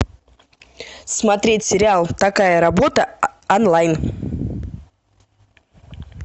смотреть сериал такая работа онлайн